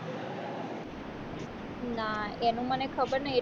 ના એનું મને ખબર નહિ